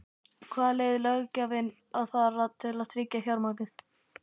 Hvaða leið löggjafinn að fara til að tryggja fjármagnið?